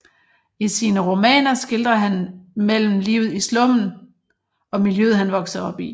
I sine romananer skildrer han mellem livet i slummen og miljøet han voksede op i